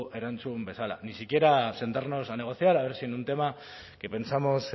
erantzun bezala ni siquiera sentarnos a negociar a ver si en un tema que pensamos